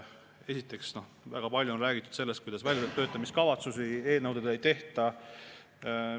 Esiteks, väga palju on räägitud sellest, kuidas väljatöötamiskavatsusi eelnõudele ei tehta.